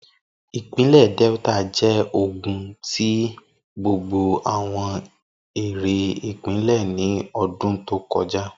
Ipinle Delta jẹ ogun ti gbogbo awọn ere ipinlẹ ni ọdun to kọja